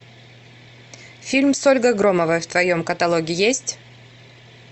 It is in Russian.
фильм с ольгой громовой в твоем каталоге есть